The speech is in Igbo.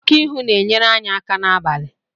Oku ihu na-enyere anya n'abalị.